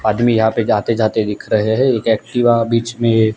आदमी यहाँ पे जाते जाते दिख रहें हैं एक एक्टिवा बीच में--